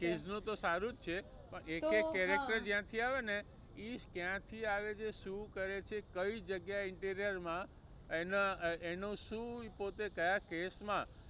Quiz નું તો સારું જ છે પણ એક એક character જ્યાં થી આવે ને એ કયા થી આવે છે, શું કરે છે, કઈ જગ્યા એ એના એનું શું પોતે કયા કેસ માં